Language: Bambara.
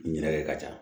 Ɲinɛkɛ ka ca